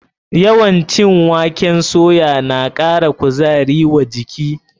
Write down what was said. Yawan cin waken soya na ƙara kuzari wa jiki.